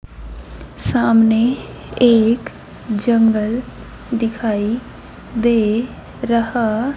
सामने एक जंगल दिखाई दे रहा--